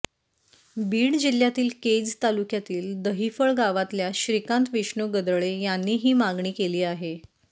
बीड जिल्ह्यातील केज तालुक्यातील दहिफळ गावातल्या श्रीकांत विष्णू गदळे यांनी ही मागणी केली आहे